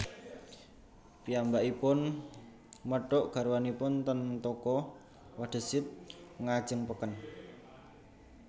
Piyambakipun methuk garwanipun ten toko Wadezid ngajeng peken